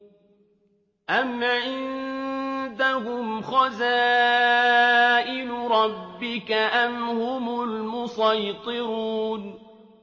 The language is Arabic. أَمْ عِندَهُمْ خَزَائِنُ رَبِّكَ أَمْ هُمُ الْمُصَيْطِرُونَ